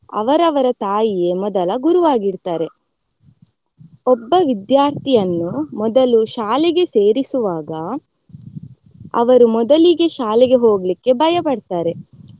ಅವರವರ ತಾಯಿಯೇ ಮೊದಲ ಗುರು ಆಗಿರ್ತಾರೆ. ಒಬ್ಬ ವಿದ್ಯಾರ್ಥಿಯನ್ನು ಮೊದಲು ಶಾಲೆಗೆ ಸೇರಿಸುವಾಗ ಅವರು ಮೊದಲಿಗೆ ಶಾಲೆಗೆ ಹೋಗ್ಲಿಕೆ ಭಯಪಡ್ತಾರೆ.